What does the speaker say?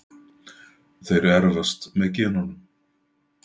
þeir erfast með genunum